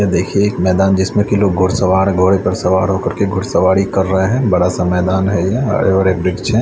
देखिए कि यह एक मैदान है जिसमें कि घुड़सवार घोड़े पर सवार होके घुड़सवारी कर रहे हैं बड़ा सा मैदान है और एक वृक्ष है।